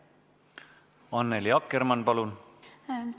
Annely Akkermann, palun!